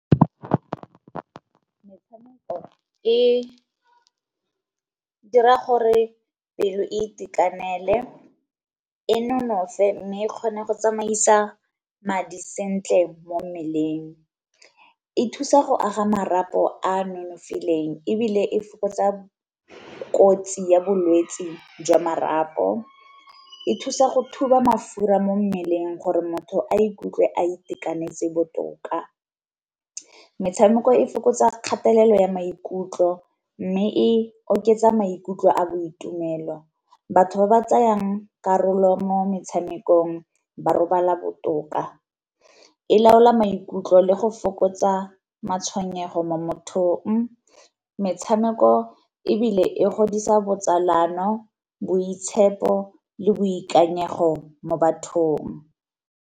Metshameko e dira gore pelo e itekanele e nonofe mme kgone go tsamaisa madi sentle mo mmeleng, e thusa go aga marapo a nonofileng ebile e fokotsa kotsi ya bolwetsi jwa marapo, e thusa go thuba mafura mo mmeleng gore motho a ikutlwe a itekanetse botoka. Metshameko e fokotsa kgatelelo ya maikutlo mme e oketsa maikutlo a boitumelo. Batho ba ba tsayang karolo mo metshamekong ba robala botoka. E laola maikutlo le go fokotsa matshwenyego mo mothong, metshameko ebile e godisa botsalano, boitshepo, le boikanyego mo bathong.